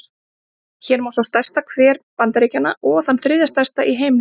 Hér má sjá stærsta hver Bandaríkjanna, og þann þriðja stærsta í heimi.